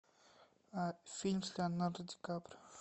фильм с леонардо ди каприо